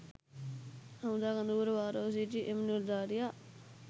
හමුදා කඳවුර භාරව සිටි එම නිලධාරියා